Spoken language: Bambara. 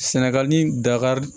Sɛnɛgali dakari